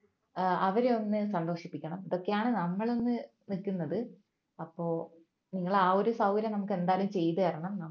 ഏർ അവരെ ഒന്നു സന്തോഷിപ്പിക്കണം ഇതൊക്കെയാണ് നമ്മൾ ഒന്നു നിൽക്കുന്നത് അപ്പോൾ നിങ്ങൾ ആ ഒരു സൗകര്യം നമുക്ക് എന്തായാലും ചെയ്തു തരണം